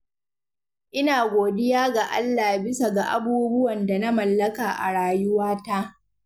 Ina godiya ga Allah bisa ga abubuwan da na mallaka a rayuwata.